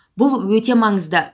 бұл өте маңызды